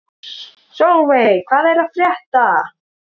Solveig, hvað er að frétta?